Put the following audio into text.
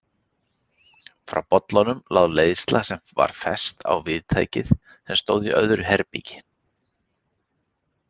Frá bollanum lá leiðsla sem var fest á viðtæki sem stóð í öðru herbergi.